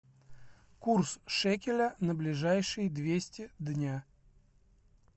курс шекеля на ближайшие двести дня